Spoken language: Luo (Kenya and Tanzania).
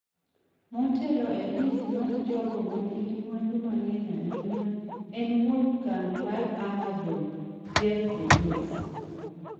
Matelo e list mar jogo manigi mwandu mang'eny ahinya en wuon kambi mar Amazon, Jeff Bezos.